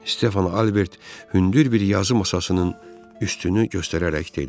Stefan Albert hündür bir yazı masasının üstünü göstərərək dedi.